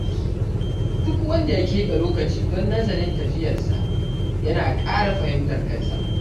Duk wanda ya keɓe lokaci don nazarin tafiyarsa, yana ƙara fahimtar kansa.